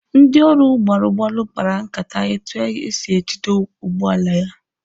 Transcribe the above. Ndị ọrụ gbalụ gbalụ kpara nkata etu esi jide ụgbọala ya.